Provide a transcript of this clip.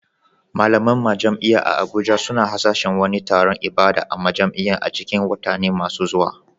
Malaman majami'a a Abuja suna hasashen wani taron ibada a majam'a a cikin watanni masu zuwa.